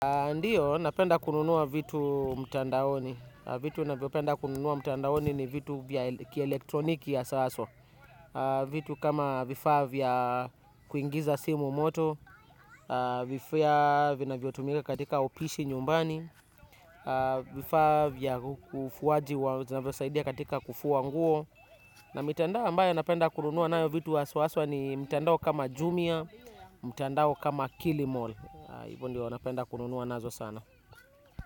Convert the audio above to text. Ndiyo, napenda kununua vitu mtandaoni. Vitu navyopenda kununua mtandaoni ni vitu vya kielektroniki hasa haswa. Vitu kama vifaa vya kuingiza simu moto, vifaa vinavyotumika katika upishi nyumbani, vifaa vya ufuaji wa zinavyosaidia katika kufua nguo. Na mitandao ambayo napenda kununua nayo vitu haswa haswa ni mtandao kama jumia, mtandao kama kilimall. Hivyo ndio napenda kununua nazo sana.